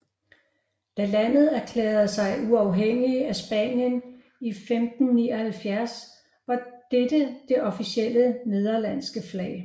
Da landet erklærede sig uafhængige af Spanien i 1579 var dette det officielle nederlandske flag